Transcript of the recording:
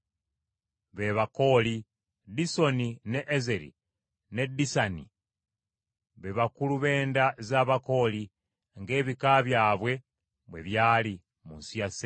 ne Disoni, ne Ezeri ne Disani. Bano be bakulu b’enda za Bakooli ng’ebika byabwe bwe byali, mu nsi ya Seyiri.